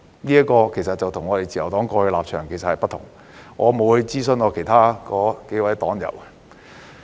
這立場其實與我們自由黨過去的立場不同，我亦沒有諮詢其他數位黨友。